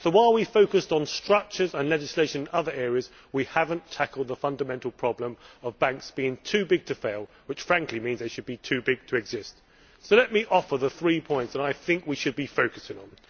So while we have focused on structures and legislation in other areas, we have not tackled the fundamental problem of banks being too big to fail' which, frankly, means they should be too big to exist. Let me offer the three points that I think we should be focusing on.